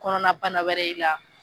Kɔnɔnabana wɛrɛ ye i la.